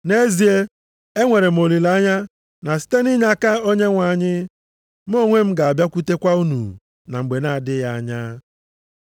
Nʼezie, enwere m olileanya na site nʼinyeaka Onyenwe anyị, mụ onwe m ga-abịakwutekwa unu na mgbe na-adịghị anya.